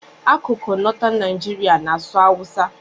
Akụkụ Northern Nigeria na-asụ Hausa.